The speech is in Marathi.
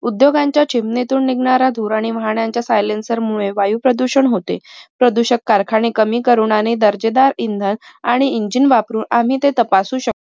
उद्योगांच्या चिमणीतून निगणारा धुर आणि वाहनांच्या silencer मुले वायू प्रदूषण होते. प्रदूषक कारखाने कमी करून आणि दर्जेदार इंधन आणि ENGINE वापरून आम्ही ते तपासू शक